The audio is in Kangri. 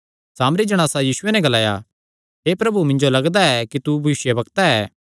सामरी जणासा यीशुये नैं ग्लाया हे प्रभु मिन्जो लगदा ऐ कि तू भविष्यवक्ता ऐ